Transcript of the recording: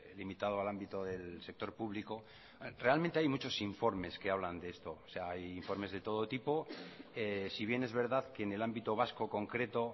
limitado al ámbito del sector público realmente hay muchos informes que hablan de esto o sea hay informes de todo tipo si bien es verdad que en el ámbito vasco concreto